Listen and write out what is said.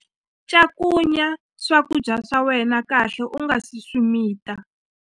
Cakunya swakudya swa wena kahle u nga si swi mita.